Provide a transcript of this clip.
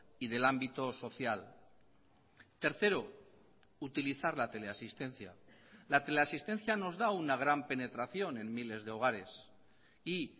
y del ámbito social tercero utilizar la teleasistencia la teleasistencia nos da una gran penetración en miles de hogares y